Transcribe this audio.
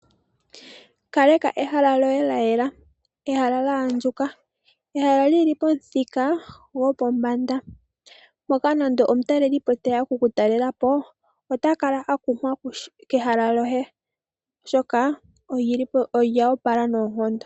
Ka leka ehala lyoye lya yela, ehala lya andjuka, ehala lyi li pomuthika gopombanda moka nande omutaleli po teya oku ku talela po ota kala akumwa kehala lyoye, oshoka olyi li po nolya opala noondondo.